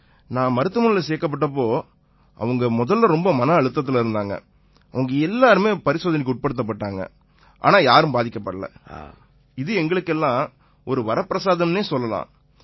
நான் மருத்துவமனையில சேர்க்கப்பட்ட போது அவங்க முதல்ல ரொம்ப மன அழுத்தத்தில இருந்தாங்க அவங்க எல்லாருமே பரிசோதனைக்கு உட்படுத்தப்பட்டாங்க ஆனா யாருமே பாதிக்கப்படலை இது எங்களுக்கு எல்லாம் ஒரு வரப்பிரசாதம்னே சொல்லலாம்